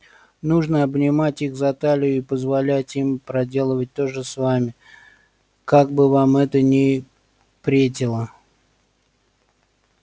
нужно обнимать их за талию и позволять им проделывать то же с вами как бы вам это ни претило